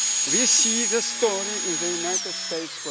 We see this story in the United States.